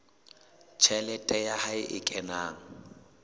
tjhelete ya hae e kenang